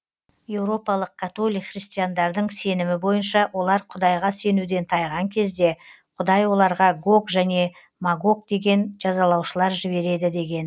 еуропалық католик христиандардың сенімі бойынша олар құдайға сенуден тайған кезде құдай оларға гог және магог деген жазалаушылар жібереді деген